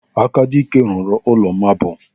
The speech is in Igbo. Akadike zụrụ ụlọ maabul.